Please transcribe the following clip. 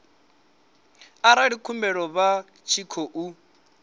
arali khumbelo vha tshi khou